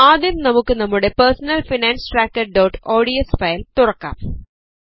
ആദ്യം നമുക്ക് നമ്മുടെ Personal Finance Trackerodsഫയൽ തുറക്കാം